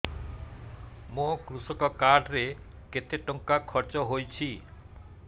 ମୋ କୃଷକ କାର୍ଡ ରେ କେତେ ଟଙ୍କା ଖର୍ଚ୍ଚ ହେଇଚି